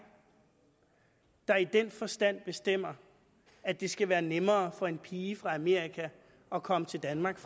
der i den forstand bestemmer at det skal være nemmere for en pige fra amerika at komme til danmark